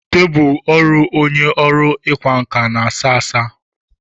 Tebụl ọrụ onye ọrụ ịkwa nkà na a sá asá.